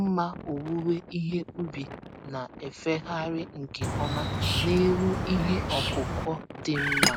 mma owuwe ihe ubi na-efegharị nke ọma n'elu ihe ọkụkụ dị mma.